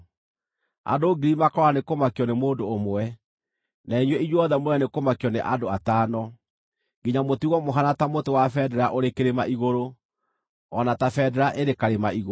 Andũ ngiri makoora nĩ kũmakio nĩ mũndũ ũmwe; na inyuĩ inyuothe mũũre nĩ kũmakio nĩ andũ atano, nginya mũtigwo mũhaana ta mũtĩ wa bendera ũrĩ kĩrĩma-igũrũ, o na ta bendera ĩrĩ karĩma-igũrũ.”